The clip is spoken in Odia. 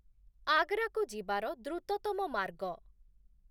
ଆଗ୍ରାକୁ ଯିବାର ଦ୍ରୁତତମ ମାର୍ଗ